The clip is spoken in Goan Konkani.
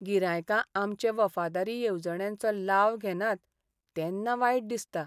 गिरायकां आमचे वफादारी येवजण्यांचो लाव घेनात तेन्ना वायट दिसता.